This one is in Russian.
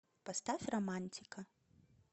поставь романтика